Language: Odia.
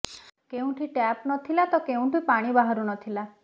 କେଉଁଠି ଟ୍ୟାପ୍ ନଥିଲା ତ କେଉଁଠି ପାଣି ବାହାରୁ ନଥିଲା